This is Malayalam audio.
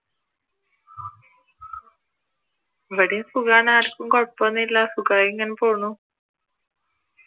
ഇവിടേം സുഖമാണ് ആർക്കും കൊഴപ്പം ഒന്നും ഇല്ല സുഖമായി ഇങ്ങനെ പോണു